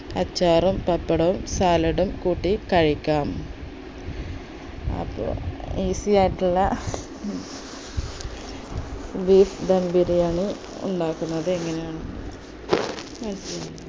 അച്ചാറും പപ്പടവും salad ഉം കൂട്ടി കഴിക്കാം അപ്പോ easy ആയിട്ടുള്ള beef ധം ബിരിയാണി ഉണ്ടാക്കുന്നത് എങ്ങനെയാണെന്ന്